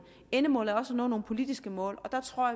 endemålet er også at nå nogle politiske mål og der tror